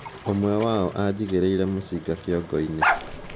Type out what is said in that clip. "ûmwe wao ajigìreire mũcinga kiongoini "